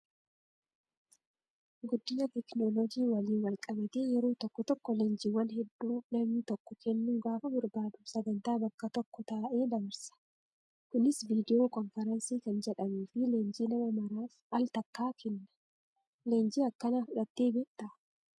Guddina teekinooloojii waliin wal qabatee yeroo tokko tokko leenjiiwwan hedduu namni tokko kennuu gaafa barbaadu sagantaa bakka tokko taa'ee dabarsa. Kunis viidiyoo konfiraansii kan jedhamuu fi leenjii nama maraaf al-takkaa kenna. Leenjii akkanaa fudhattee beektaa?